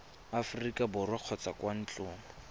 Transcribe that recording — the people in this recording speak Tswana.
aforika borwa kgotsa kwa ntlong